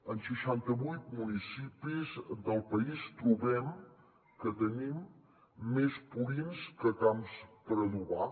en seixantavuit municipis del país trobem que tenim més purins que camps per adobar